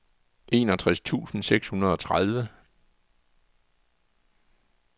enogtres tusind seks hundrede og tredive